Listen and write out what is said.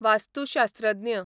वास्तुशास्त्रज्ञ